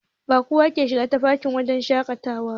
Ba kowa ke shiga tafkin wanka ba a wurin shaƙatawa.